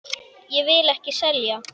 Ég vil ekki selja.